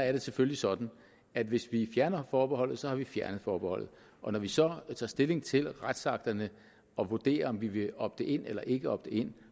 er det selvfølgelig sådan at hvis vi fjerner forbeholdet har vi fjernet forbeholdet og når vi så tager stilling til retsakterne og vurderer om vi vil opte in eller ikke opte in